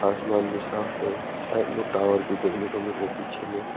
आसमान भी साफ है साइड में टावर देखने को मिल रहा है पीछे में।